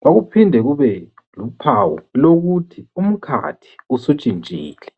kwakuphinde kube luphawu lokuthi umkhathi usutshintshile.